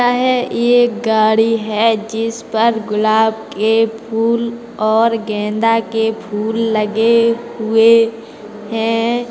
है ये गाड़ी है जिस पर गुलाब के फूल और गेंदा के फूल लगे हुए है।